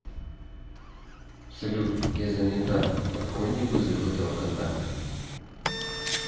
салют я занята отклони вызов этого контакта